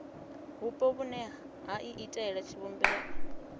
vhupo vhune ha iitela tshivhumbeo